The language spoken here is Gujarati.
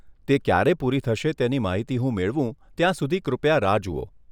તે ક્યારે પૂરી થશે તેની માહિતી હું મેળવું ત્યાં સુધી કૃપયા રાહ જુઓ.